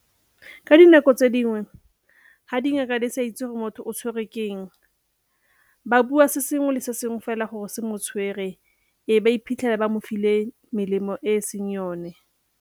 Ka dinako tse dingwe ga dingaka di sa itse gore motho o tshwerwe ke eng, ba bua se sengwe le sengwe fela gore se mo tshwere e be ba iphitlhela ba mo file melemo e e seng yone.